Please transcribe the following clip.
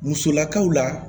Musolakaw la